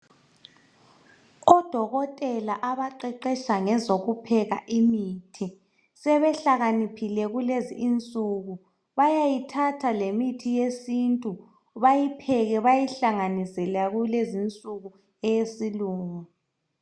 Odokotela abaqeqesha ngezokupheka imithi sebehlakaniphile kulezi insuku. Bayayithatha lemithi yesintu bayipheke bayihlanganise leyakulezi insuku eyesilungu.